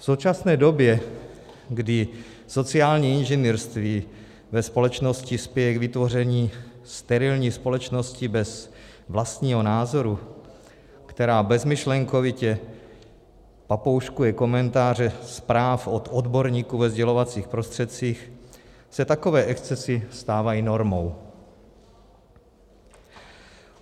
V současné době, kdy sociální inženýrství ve společnosti spěje k vytvoření sterilní společnosti bez vlastního názoru, která bezmyšlenkovitě papouškuje komentáře zpráv od odborníků ve sdělovacích prostředcích, se takové excesy stávají normou.